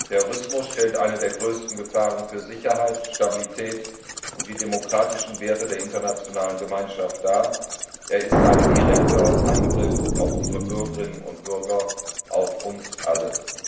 Terrorismus stellt eine der größten Gefahren für Sicherheit, Stabilität und die demokratischen Werte der internationalen Gemeinschaft dar, er ist ein direkter Angriff auf unsere Bürgerinnen und Bürger, auf uns alle.